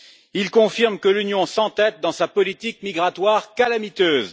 Il confirme que l'Union s'entête dans sa politique migratoire calamiteuse.